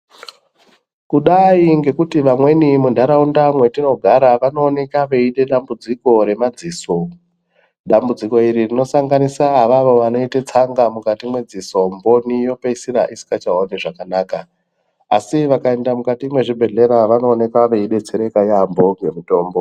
Kudai ngekuti vamweni mundaraunda matinogara vanooneka veita dambudziko remadziso dambudziko iroro rinosanganisa vanoita tsanga mukati medziso mboni yopeisira isingachaoni zvakanaka asi vakaenda mukati mezvibhehleya vanooneka veidetsereka yamho nemutombo .